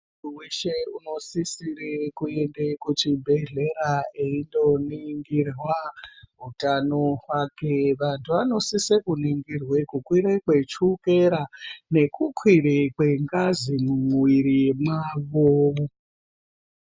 Muntu weshe unosise kwende kuchibhedhlera eitoningirwa hutano hwake vantu anosise kuningirwa kukwira kwechokera nekukwira kwengazi mumwiri mwawo.